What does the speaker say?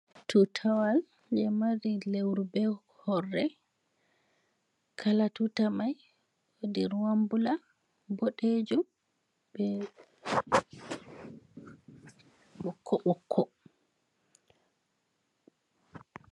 Tutawa jei mari lewru be horre. Kala tuta mai wodi ruwan bula, boɗeejum, be ɓokko-ɓokko.